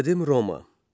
Qədim Roma.